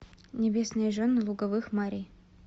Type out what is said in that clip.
небесные жены луговых мари